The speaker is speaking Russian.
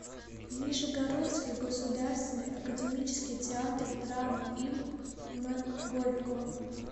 нижегородский государственный академический театр драмы им м горького